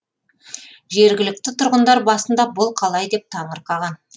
жергілікті тұрғындар басында бұл қалай деп таңырқаған